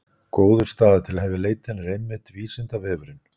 Góður staður til að hefja leitina er einmitt Vísindavefurinn!